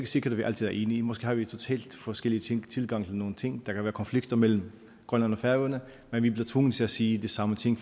sikkert vi altid er enige måske har vi en totalt forskellig tilgang til nogle ting og der kan være konflikter mellem grønland og færøerne men vi bliver tvunget til at sige de samme ting